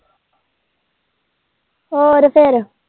ਹੋਰ ਫੇਰ।